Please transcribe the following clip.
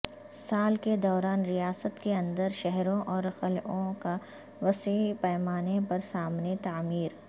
سال کے دوران ریاست کے اندر شہروں اور قلعوں کا وسیع پیمانے پر سامنے تعمیر